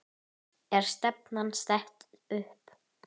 Er stefnan sett upp?